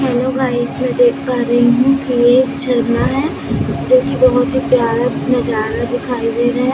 Hello guys मैं देख पा रही हूं कि ये एक झरना है जो कि बहुत ही प्यारा नजारा दिखाई दे रहा है।